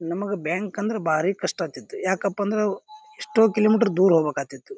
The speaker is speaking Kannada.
ನಮಗ ಬ್ಯಾಂಕ್ ಅಂದ್ರ ಭಾರಿ ಕಷ್ಟ ಆಗ್ತಿತ್ತು. ಯಾಕಪ್ಪ ಅಂದ್ರ ಎಷ್ಟೋ ಕಿಲೋಮೀಟರ್ ದೂರ ಹೋಗ್ಬೇಕಾತಿತ್ತು.